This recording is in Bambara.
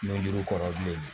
N duuru kɔrɔ bilen